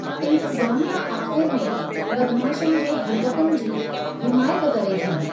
इंतज़ामिया आख़िर में बदमाशनि जे हर्कतुनि जी हिमायत करे थी।